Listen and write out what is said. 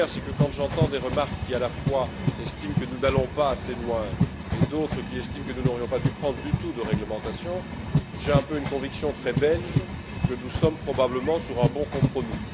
La première, c'est que, quand j'entends à la fois des gens qui estiment que nous n'allons pas assez loin et d'autres qui estiment que nous n'aurions pas dû prendre du tout de réglementation, j'ai un peu une conviction très belge que nous sommes probablement sur un bon compromis.